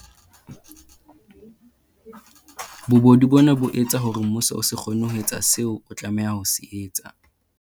Bobodu bona bo etsa hore mmuso o se kgone ho etsa seo o tlameha ho se etsa.